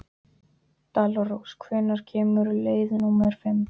Dalrós, hvenær kemur leið númer fimm?